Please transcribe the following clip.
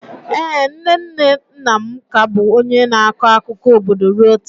Ee, nne nne nna m ka bụ onye na-akọ akụkọ obodo ruo taa.